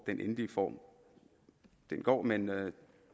den endelige form men